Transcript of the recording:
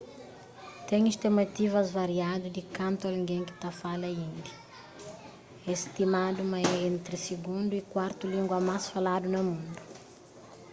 ten stimativas variadu di kantu algen ki ta fala indi é stimadu ma é entri sigundu y kuartu língua más faladu na mundu